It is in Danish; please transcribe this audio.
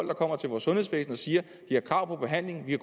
der kommer til vores sundhedsvæsen og siger at de har krav på behandling kan